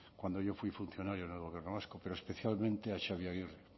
cuando yo fui funcionario en el gobierno vasco pero especialmente a xabi agirre